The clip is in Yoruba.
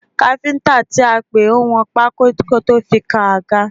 Káfíńtà tí a pè wọn pákó kí ó tó fi kan àga.